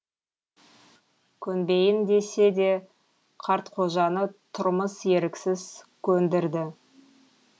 көнбейін десе де қартқожаны тұрмыс еріксіз көндірді